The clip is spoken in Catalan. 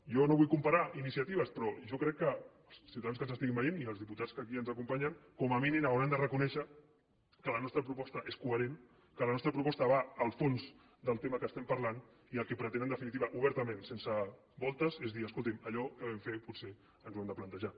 jo no vull comparar iniciatives però jo crec que els ciutadans que ens estiguin veient i els diputats que aquí ens acompanyen com a mínim hauran de reconèixer que la nostra proposta és coherent que la nostra proposta va al fons del tema que estem parlant i el que pretén en definitiva obertament sense voltes és dir escolti’m allò que vam fer potser ens ho hem de plantejar